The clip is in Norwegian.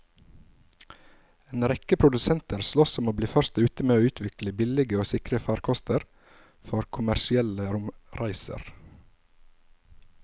En rekke produsenter sloss om å bli først ute med å utvikle billige og sikre farkoster for kommersielle romreiser.